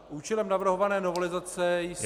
Účelem navrhované novelizace jsou -